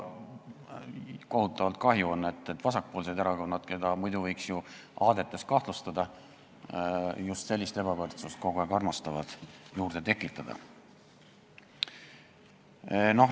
Kohutavalt kahju on, et vasakpoolsed erakonnad, keda muidu võiks ju aadete omamises kahtlustada, armastavad just sellist ebavõrdsust kogu aeg juurde tekitada.